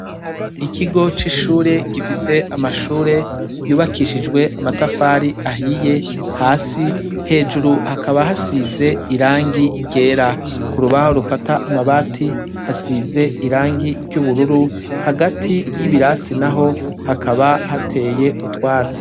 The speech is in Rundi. Ikigo c'ishure gifise amashure yubakishijwe amatafari ahiye hasi hejuru hakaba hasize irangi igera ku rubaho rufata amabati hasize irangi ry'ubururu hagati y'ibirasi na ho hakaba hateye utwatsi.